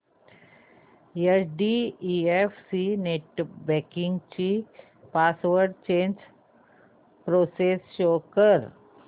HDFC net banking ची password change process show कर